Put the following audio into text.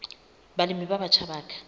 balemi ba batjha ba ka